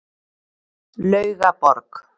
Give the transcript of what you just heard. Laugaborg